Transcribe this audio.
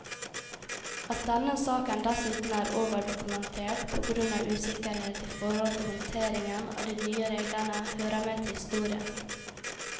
At denne saken dessuten er overdokumentert, på grunn av usikkerhet i forhold til håndteringen av de nye reglene, hører med til historien.